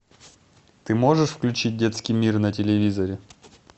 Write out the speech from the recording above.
ты можешь включить детский мир на телевизоре